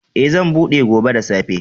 Eh, zan buɗe gobe da safe.